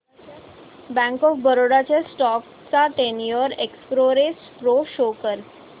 bank of Baroda च्या stock चा ten year X ray pro show कर